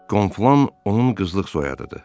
Konflan onun qızılıq soyadıdır.